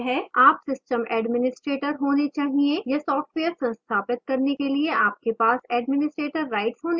आप system administrator होने चाहिए या सॉफ्टवेयर संस्थापित करने के लिए आपके पास administrator rights होने चाहिए